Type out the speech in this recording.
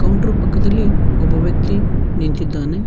Counter ಪಕ್ಕದಲ್ಲಿ ಒಬ್ಬ ವ್ಯಕ್ತಿ ನಿಂತಿದ್ದಾನೆ.